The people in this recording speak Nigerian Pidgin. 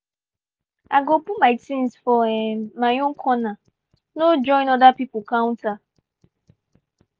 i go put my things for um my own corner no join other people counter.